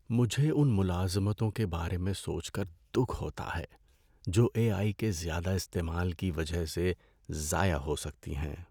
مجھے ان ملازمتوں کے بارے میں سوچ کر دکھ ہوتا ہے جو اے آئی کے زیادہ استعمال کی وجہ سے ضائع ہو سکتی ہیں۔